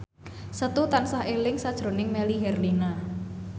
Setu tansah eling sakjroning Melly Herlina